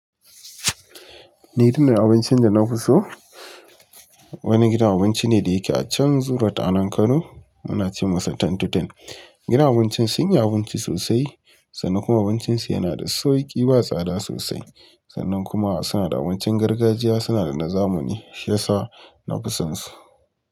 Ni irin abincin da na kuso wani gidan abinci ne da yake a can Zoo road a nan Kano. Muna ce masa Ten to ten. Gidan abincin sun yi abinci sosai sannan kuma abincin su yana da sauki sosai, ba tsada sosai. Sannan kuma suna da abincin gargajiya, suna da na zamani, shiyasa na fi son su.